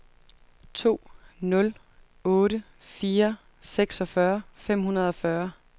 to nul otte fire seksogfyrre fem hundrede og fyrre